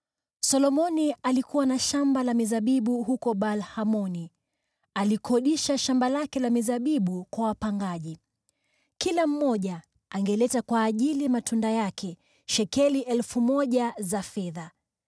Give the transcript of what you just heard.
Solomoni alikuwa na shamba la mizabibu huko Baal-Hamoni; alikodisha shamba lake la mizabibu kwa wapangaji. Kila mmoja angeleta kwa ajili ya matunda yake shekeli 1,000 za fedha.